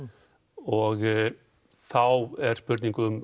og þá er spurning um